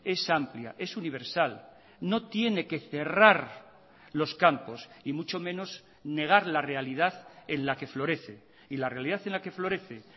es amplia es universal no tiene que cerrar los campos y mucho menos negar la realidad en la que florece y la realidad en la que florece